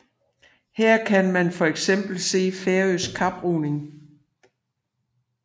Her kan man for eksempel se færøsk kaproing